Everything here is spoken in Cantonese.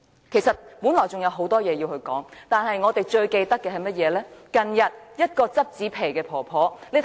其實我本來還有很多事想說，但我最近印象最深刻的，是近日一位撿紙皮的婆婆被檢控的事。